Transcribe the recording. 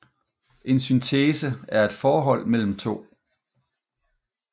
En Synthese er et Forhold mellem To